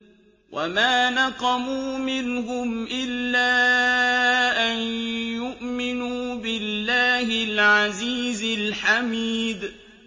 وَمَا نَقَمُوا مِنْهُمْ إِلَّا أَن يُؤْمِنُوا بِاللَّهِ الْعَزِيزِ الْحَمِيدِ